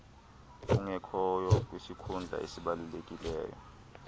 ungekhoyo kwisikhundla esibalulekileyo